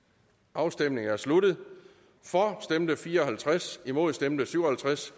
afstemningen er sluttet for stemte fire og halvtreds imod stemte syv og halvtreds